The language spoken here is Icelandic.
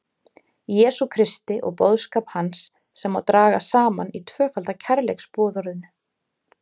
Jesú Kristi og boðskap hans sem má draga saman í tvöfalda kærleiksboðorðinu.